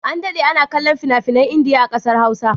An daɗe ana kallon fina-finan Indiya a ƙasar Hausa